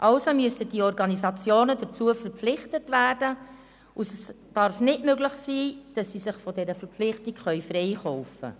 Also müssen die Organisationen dazu verpflichtet werden, und es darf nicht möglich sein, dass sie sich von dieser Verpflichtung freikaufen können.